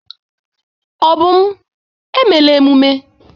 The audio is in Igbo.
Obum, emela emume!